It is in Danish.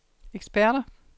eksperter